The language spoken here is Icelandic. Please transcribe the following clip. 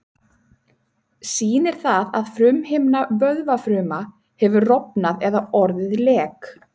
Sýnir það að frumuhimna vöðvafruma hefur rofnað eða orðið lek.